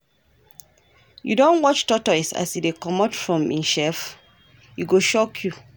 You don watch tortoise as e dey comot from im shell? e go shock you.